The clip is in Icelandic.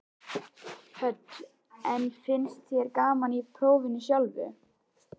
Hödd: En finnst þér gaman í prófinu sjálfu?